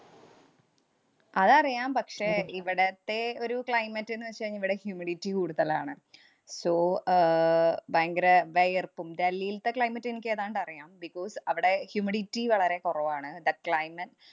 അതറിയാം. പക്ഷേ, ഇവിടത്തെ ഒരു climate എന്ന് വച്ചാ ഇവിടെ humidity കൂടുതലാണ്. So ആഹ് ഭയങ്കര വെയര്‍പ്പും ഡൽഹിൽത്തെ climate എനിക്കേതാണ്ട് അറിയാം. because അവടെ humidity വളരെ കുറവാണ്. That climate